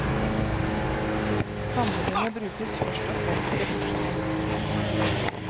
Samlingene brukes først og fremst til forskning.